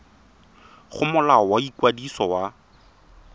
go molao wa ikwadiso wa